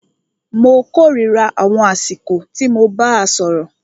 Mó kòrira àwọn àsìkò tí mo bàá sọ̀rọ̀.